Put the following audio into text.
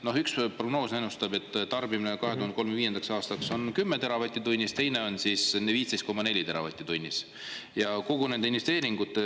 No üks prognoos ennustab, et tarbimine 2035. aastaks on 10 teravatti tunnis, teine on 15,4 teravatti tunnis ja kogu nende investeeringute osas ...